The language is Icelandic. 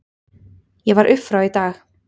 Ég var upp frá í dag.